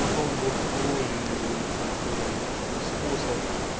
потом вот твой как бы способ